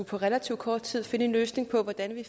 på relativt kort tid at skulle finde en løsning på hvordan vi